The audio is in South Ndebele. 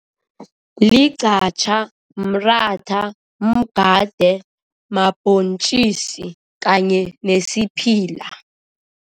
Ligqatjha, mratha, mgade mabhontjisi kanye nesiphila.